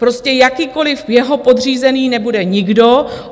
Prostě jakýkoliv jeho podřízený nebude nikdo.